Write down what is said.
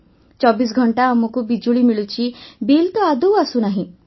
୨୪ ଘଣ୍ଟା ଆମକୁ ବିଜୁଳି ମିଳୁଛି ବିଲ୍ ତ ଆଦୌ ଆସୁନାହିଁ